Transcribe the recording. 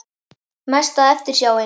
Mesta eftirsjáin?